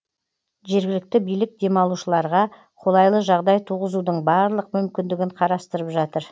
жергілікті билік демалушыларға қолайлы жағдай туғызудың барлық мүмкіндігін қарастырып жатыр